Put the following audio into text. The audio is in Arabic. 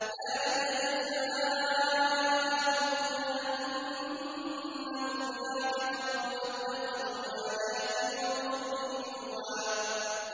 ذَٰلِكَ جَزَاؤُهُمْ جَهَنَّمُ بِمَا كَفَرُوا وَاتَّخَذُوا آيَاتِي وَرُسُلِي هُزُوًا